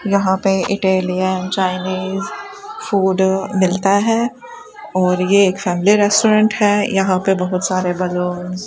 यहां पे Italian Chinese food मिलता है और यह एक फैमिली रेस्टोरेंट है यहां पे बहुत सारे बैलून --